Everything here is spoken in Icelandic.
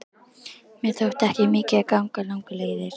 Mér þótti ekki mikið að ganga langar leiðir.